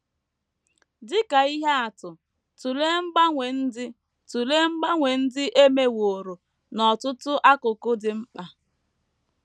Dị ka ihe atụ, tụlee mgbanwe ndị tụlee mgbanwe ndị e meworo n’ọtụtụ akụkụ dị mkpa.